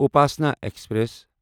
Upasana express